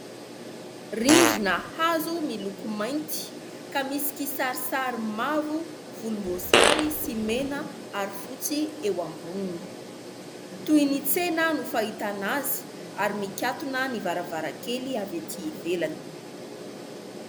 Rindrina hazo miloko mainty ka misy kisarisary mavo, volomboasary sy mena ary fotsy eo amboniny. Toy ny tsena no fahitana azy ary mikatona ny varavarankely avy etỳ ivelany.